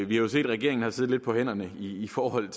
vi har jo set at regeringen har siddet lidt på hænderne i i forhold